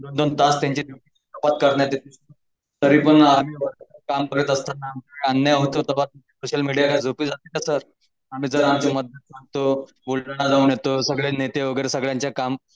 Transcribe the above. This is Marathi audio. काम करत असताना अन्याय होता सोशल मीडिया झोपत सगळे नेते वगैरे सगळ्यांचे काम